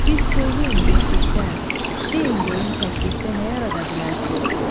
Bir söyləyin beşlikdə, deyin görüm təklikdə nə yarada bilərsiz?